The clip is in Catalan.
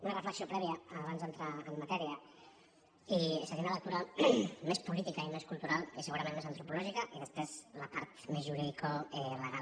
una reflexió prèvia abans d’entrar en matèria i seria una lectura més política i més cultural i segurament més antropològica i després la part més juridicolegal